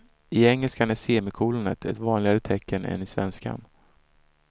I engelskan är semikolonet ett vanligare tecken än i svenskan.